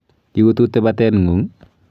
Iututi bateng'ung'?